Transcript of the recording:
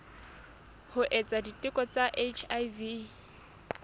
ho etsa diteko tsa hiv